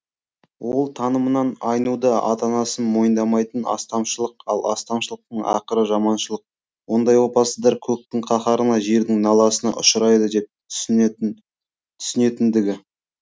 ол танымынан айнуды ата анасын мойындамайтын астамшылық ал астамшылықтың ақыры жаманшылық ондай опасыздар көктің қаһарына жердің наласына ұшырайды деп түсінетіндігі